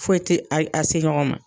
Foyi tɛ a a se ɲɔgɔn ma.